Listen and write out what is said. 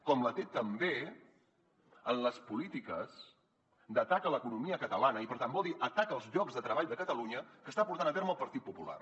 com la té també en les polítiques d’atac a l’economia catalana i per tant vol dir atac als llocs de treball de catalunya que està portant a terme el partit popular